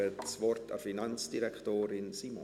Ich gebe das Wort Finanzdirektorin Simon.